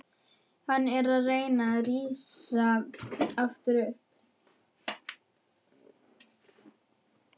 Hann er að reyna að rísa upp aftur.